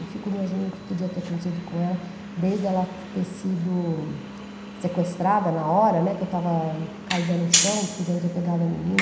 Eu fico imaginando o que podia ter acontecido com ela, desde ela ter sido sequestrada na hora, né, que eu estava caída no chão, podiam ter pegado a menina.